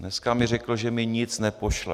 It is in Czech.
Dneska mi řekl, že mi nic nepošle.